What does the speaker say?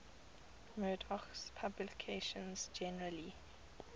murdoch's publications generally